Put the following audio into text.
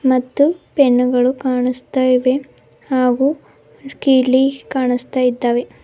ಮತ್ತು ಪೆನ್ನುಗಳು ಕಾನಸ್ತಾ ಇವೆ ಹಾಗು ಕೀಲಿ ಕಾಣಸ್ತಾ ಇದ್ದಾವೆ.